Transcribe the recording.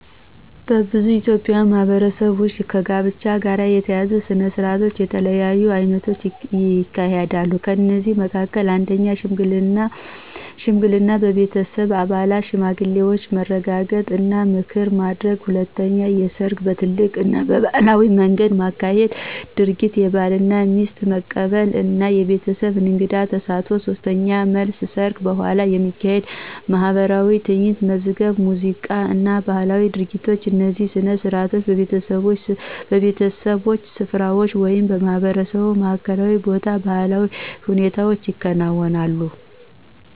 በብዙ ኢትዮጵያዊ ማህበረሰቦች ውስጥ ከጋብቻ ጋር የተያያዙ ሥነ ሥርዓቶች በተለያዩ አይነቶች ይካሄዳሉ። ከእነዚህ መካከል፦ 1. ሽምግልና – በቤተሰብ አባላትና ሽማግሌዎች መረጋገጥ እና ምክር ማድረግ። 2. ሰርግ – በትልቅ እና ባህላዊ መንገድ የሚካሄድ ድርጊት፣ የባልና የሚስት መቀበል እና የቤተሰብ እንግድ ተሳትፎ። 3. መልስ – ሰርግ በኋላ የሚካሄድ ማኅበራዊ ትዕይንት፣ መዝገብ ሙዚቃ እና ባህላዊ ድርጊቶች። እነዚህ ሥነ ሥርዓቶች በቤተሰቦች ስፍራዎች ወይም በማህበረሰብ ማዕከላዊ ቦታዎች በባህላዊ ሁኔታ ይከናወናሉ።